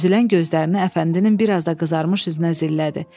Süzülən gözlərini Əfəndinin biraz da qızarmış üzünə zillədi.